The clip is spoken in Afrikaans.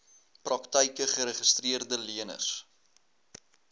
praktyke geregistreede leners